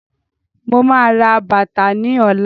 Mo máa ra bàtà ni ọ̀la